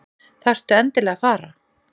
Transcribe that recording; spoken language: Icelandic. Þarftu endilega að fara?